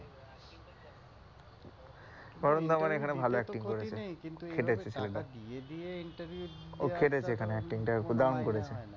বরুণ ধাবান এখানে ভালো acting করেছে, খেটেছে ছেলেটা, ও খেটেছে এখানে acting টা দারুন করেছে।